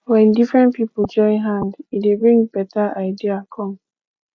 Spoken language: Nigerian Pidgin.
when different pipo join hand e dey bring better idea come